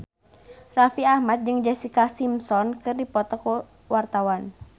Raffi Ahmad jeung Jessica Simpson keur dipoto ku wartawan